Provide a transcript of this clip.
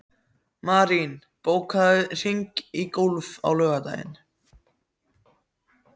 Marín, bókaðu hring í golf á laugardaginn.